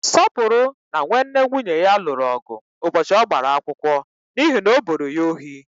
Sọpụrụ na nwanne nwunye ya lụrụ ọgụ ụbọchị ọgbara akwụkwọ n'ihi na o boro ya ohi.